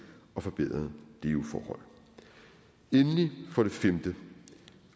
og forbedrede leveforhold endelig for det femte